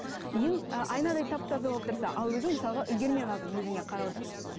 үйің айнадай тап таза болып тұрса ал өзің мысалға үлгермей қалдың өзіңе қарауды